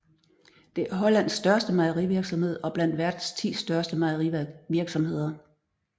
Det er Hollands største mejerivirksomhed og blandt verdens 10 største mejerivirksomheder